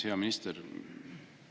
Hea minister!